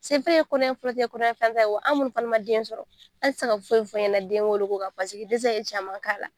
kɔnɔ ɲɛ fɔlɔ tɛ , kɔnɔ ɲɛ filanan tɛ wa an munnu fana ma den sɔrɔ ,an te se ka foyi fɔ e ɲɛna den wolo ko la. Paseke dɛsɛ ye caman k'a la.